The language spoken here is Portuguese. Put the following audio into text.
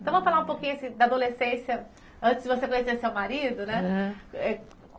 Então vamos falar um pouquinho da adolescência, antes de você conhecer seu marido, né? Aham.